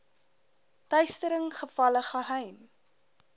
teistering gevalle geheim